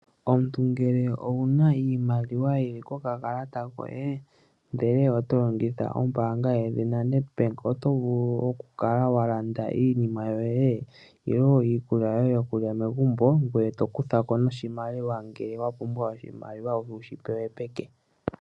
Omuntu ngele owuna iimaliwa yili ko kakalata koye, ndele oto longitha ombaanga yedhina Nedbank, oto vulu oku kala walanda iinima yoye, niikulya yoye yokulya megumbo. Ngoye to kuthako noshimaliwa, ngele wa pumbwa oshimaliwa wushi pewe peke.